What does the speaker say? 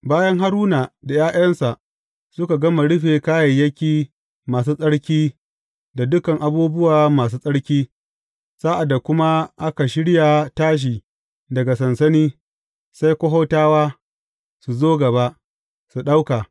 Bayan Haruna da ’ya’yansa suka gama rufe kayayyaki masu tsarki da dukan abubuwa masu tsarki, sa’ad da kuma aka shirya tashi daga sansani, sai Kohatawa su zo gaba, su ɗauka.